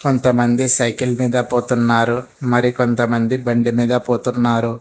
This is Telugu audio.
కొంతమంది సైకిల్ మీద పోతున్నారు మరి కొంతమంది బండిమీద పోతున్నారు.